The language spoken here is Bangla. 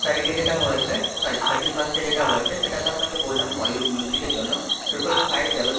তারিখে যেটা হয়েছে, sorry, thirty-first এ যেটা হয়েছে, সেটা তো আপনাকে বললাম, Bollywood music এর জন্য, Triple five double,